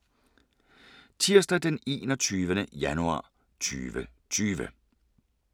Tirsdag d. 21. januar 2020